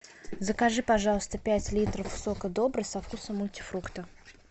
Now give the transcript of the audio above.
закажи пожалуйста пять литров сока добрый со вкусом мультифрукта